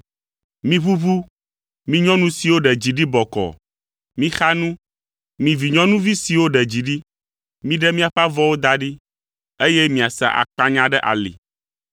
Miʋuʋu, mi nyɔnu siwo ɖe dzi ɖi bɔkɔɔ; mixa nu, mi vinyɔnuvi siwo ɖe dzi ɖi! Miɖe miaƒe avɔwo da ɖi, eye miasa akpanya ɖe ali.